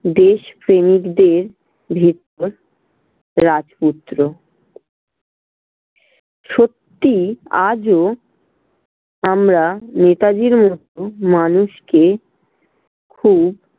দেশপ্রেমিকদের ভেতর রাজপুত্র। সত্যি আজও আমরা নেতাজির মতো মানুষকে খুব